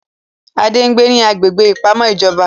Adé ń gbé ní agbègbè ìpamọ́ ìjọba